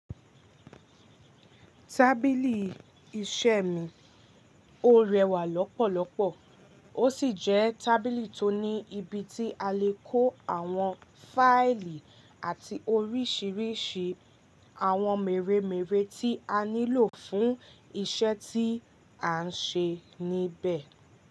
Tábìlì iṣẹ́ mi, ó rẹwà lọ́pọ̀lọ́pọ̀, ó sì jẹ́ tábìlì tó ní ibi tí a lè kó àwọn fáìlì àti oríṣiríṣi àwọn mèremère tí a nílò fún iṣẹ́ tí à ń ṣe níbẹ̀.